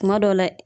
Kuma dɔw la